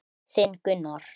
Þinn Gunnar.